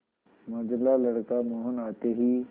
मंझला लड़का मोहन आते ही